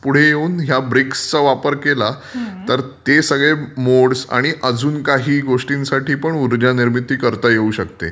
पुढे येऊन या ब्रिक्स चा वापर केला तर ते सगळे मोड्स आणि आणि अजून काही गोष्टीसाठी पण ऊर्जा निर्मिती करता येऊ शकते.